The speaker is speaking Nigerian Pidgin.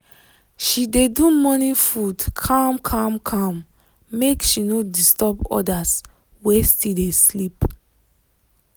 she dey do morning food calm calm calm make she no disturb others wey still dey sleep.